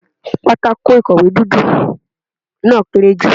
Pátákó ìkọ̀wé dúdú náà kéré jù.